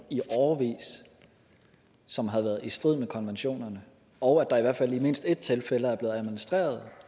i årevis som har været i strid med konventionerne og at der i hvert fald i mindst ét tilfælde er blevet administreret